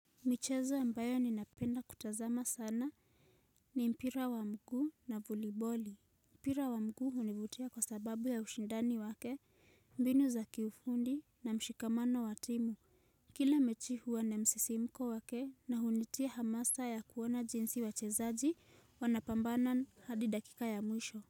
Michezo ambayo ninapenda kutazama sana ni mpira wa mguu na voliboli. Mpira wa mguu hunivutia kwa sababu ya ushindani wake mbinu za kiufundi na mshikamano wa timu Kila mechi huwa na msisimko wake na hunitia hamasa ya kuona jinsi wachezaji wanapambana hadi dakika ya mwisho.